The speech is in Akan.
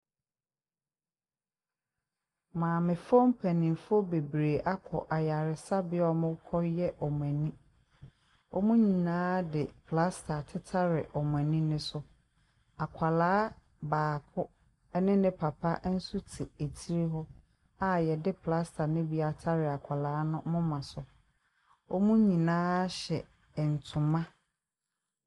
Maamefo mpanyinfoɔ bebree akɔ ayaresabea a ɔmo kɔyɛ ɔmo ani. Ɔmo nyinaa de plasta atetare ɔmo ani no so. Akɔla baako ɛne ne papa ɛnso te akyire hɔ a yɛde plasta no bi atare akɔla no moma so . Ɔmo nyinaa hyɛ ntoma.